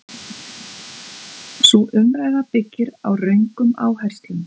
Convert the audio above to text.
Sú umræða byggir á röngum áherslum.